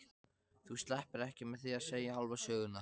Þú sleppur ekki með því að segja hálfa söguna.